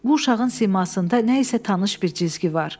Bu uşağın simasında nə isə tanış bir cizgi var.